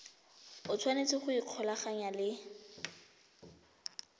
o tshwanetse go ikgolaganya le